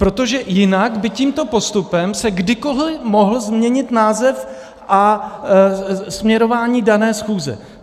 Protože jinak by tímto postupem se kdykoli mohl změnit název a směrování dané schůze.